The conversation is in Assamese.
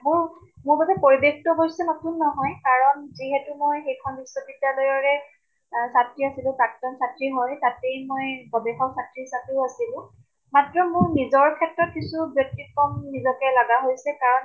মোৰ তাতে পৰিবেশ্টো অৱশ্য়ে নতুন নহয়, কাৰণ যিহেতু মই সেইখিন বিশ্ববিদ্যালয়ৰে অহ চাত্ৰী আছিলো, প্ৰাক্তন চাত্ৰী হয়। তাতেই মই গৱেষক চাত্ৰী হিচাপেো আছিলো। মাত্ৰ মোৰ নিজৰ ক্ষেত্ৰত কিছু ব্য়তিক্ৰম নজকে লাগা হৈছে কাৰণ